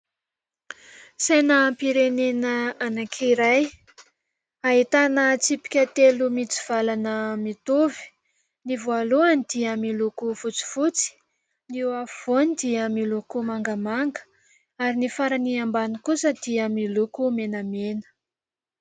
Sainam-pirenena anankiray ahitana tsipika telo mitsivalana mitovy ; ny voalohany dia miloko fotsifotsy, ny eo afovoany dia miloko mangamanga ary ny farany ambany kosa dia miloko menamena.